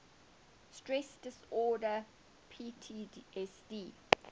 stress disorder ptsd